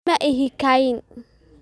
Ma ihi khaa'in